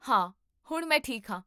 ਹਾਂ, ਹੁਣ ਮੈਂ ਠੀਕ ਹਾਂ